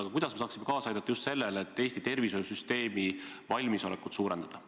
Aga kuidas me saaksime kaasa aidata just sellele, et Eesti tervishoiusüsteemi valmisolekut suurendada?